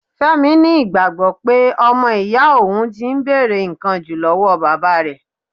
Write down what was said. Fẹ́mi ni ìgbàgbọ́ pé ọmọ iya òhun ti ń bèrè ǹkan jù lọ́wọ́ bàbá rẹ̀.